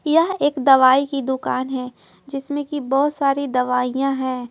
एक दवाई की दुकान है जिसमें कि बहुत सारी दवाइयां हैं।